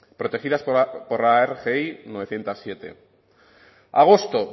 protegidas por la rgi novecientos siete agosto